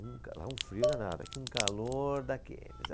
Um cara, lá um frio danado aqui, um calor daqueles.